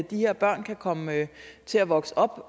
de her børn kan komme til at vokse op